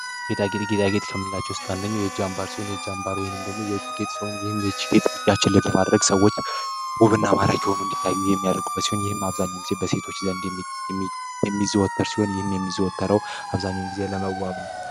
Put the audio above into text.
ጌጣጌጥ ጌጣጌጥ ከምንቸው ውስጥ አንደኛው የእጅ አንባር ሲሆን፤ የእጅ አምባር ወይም ደግሞ የእጅ ሲሆን ይህም የችግኝ ያችን ለምለም አድርሰዋል። ውብና ማራኪ የሆኑ እንዲታዩ የሚያደርግ ሲሆን ይህም አብዛኛውን ጊዜ በሴቶች ዘንድ የሚዘወተር ሲሆን ይህም የሚዘወተረው አብዛኛውን ጊዜ ለመዋብ ነው።